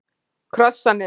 Krossanesi